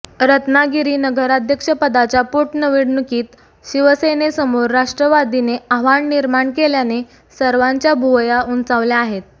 रत्नागिरीनगराध्यपदाच्या पोटनिवडणुकीत शिवसेनेसमोर राष्ट्रवादीने आव्हान निर्माण केल्याने सर्वांच्या भुवया उंचावल्या आहे